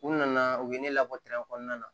U nana u ye ne labɔ kɔnɔna na